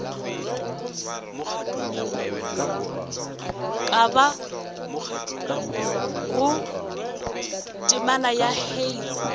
ka bago temana ya hei